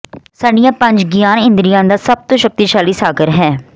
ਸਾਡੀਆਂ ਪੰਜ ਗਿਆਨ ਇੰਦਰੀਆਂ ਦਾ ਸਭ ਤੋਂ ਸ਼ਕਤੀਸ਼ਾਲੀ ਸਾਗਰ ਹੈ